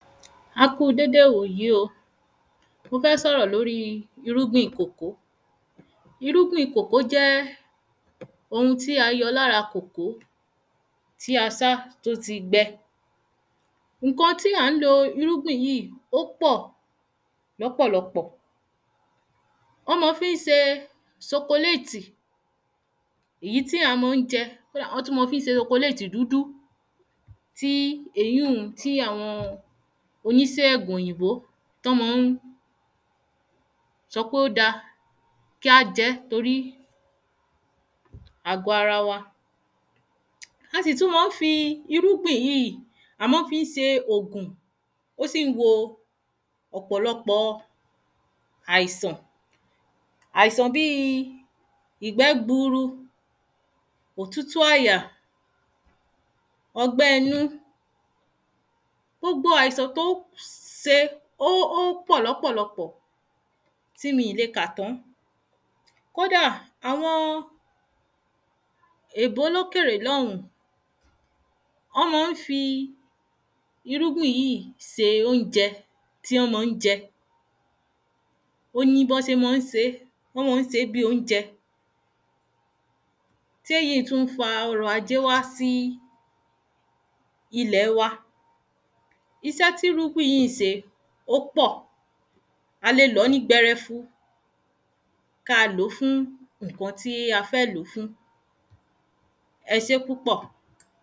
A kúu déde wòyí o mo fẹ́ sọ̀rọ̀ lóri irúgbìn kòkó irúgbìn kòkó jẹ́ ohun tí a yọ lára kòkó tí a sá tó ti gbẹ ǹkan tí à ń lo irúgbìn yíì ó pọ̀ lọ́pọ̀lọpọ̀ ọ́ ma fí ń se sokoléètì ìyí tí àwọn ọmọ ń jẹ kódà ọ́ tú ma fí ń se sokoléètì dúdú tí èyí un tí àwọn onísẹ́gùn òyìnbó tọ́ mọ ún sọ pé ó da kí á jẹ́ torí àgọ ara wa a sì tú má ń fi irúgbìn yíì a mọ́ fí ń se ògùn ó sì ń wo ọ̀pọ̀lọpọ̀ọ àìsàn àìsàn bíi ìgbẹ́ gburu òtútù àyà ọgbẹ́ inú gbogbo àìsàn tó se ó pọ̀ lọ́pọ̀lọpọ̀ọ tí mì le kà tán kódà àwọn èbó lókèrè lọ́hún ọ́ mọ ń fi irúgbìn yí se óunjẹ tí ọ́ mọ ń jẹ ó ní bọ́ sé mọ́ ń sé ọ́ mọ́ ń sé bí óunjẹ téyíì tú ń fa ọrọ̀ ajé sí ilẹ̀ wa isẹ́ tí irúgbìn yí ń se ó pọ̀ a le lọ̀ọ́ ní gbẹrẹfu ka lòó fún ǹkan tí a fẹ́ lòó fún e sé púpọ̀